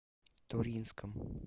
туринском